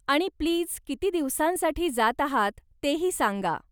आणि, प्लीज किती दिवसांसाठी जात आहात तेही सांगा.